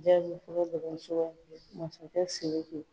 masakɛ siriki